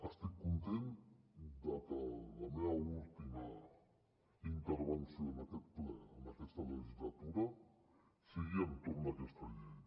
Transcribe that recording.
estic content de que la meva última intervenció en aquest ple en aquesta legislatura sigui entorn d’aquesta llei